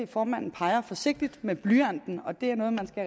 formanden peger forsigtig med blyanten og det er noget man skal